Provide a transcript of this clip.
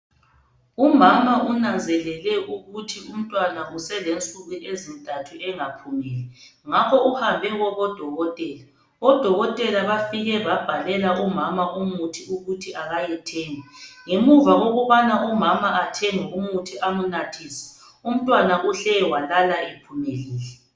Umama unanzelele ukuthi umntwana selensuku ezintathu engaphumeli ngakho uhambe kubo dokotela odokotela bafike babhalela umama umuthi ukuthi akayethenga ngemva kokuthi umama ethenge umuthi amnathise umntwana uhle walala ephumelile